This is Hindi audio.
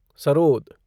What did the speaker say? सरोद